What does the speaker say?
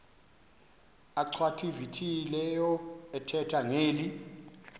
achwavitilevo ethetha ngeli